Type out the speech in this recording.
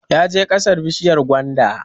Ya je ƙasar bishiyar gwanda